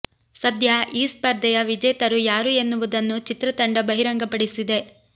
ಸದ್ಯ ಈ ಸ್ಪರ್ಧೆಯ ವಿಜೇತರು ಯಾರು ಎನ್ನುವುದನ್ನು ಚಿತ್ರತಂಡ ಬಹಿರಂಗ ಪಡಿಸಿದೆ